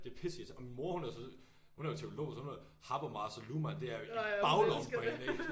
Det pisse irriterende og min mor hun er så hun er jo teolog så hun har Habermas og Luhmann det er jo i baglommen på hende ikke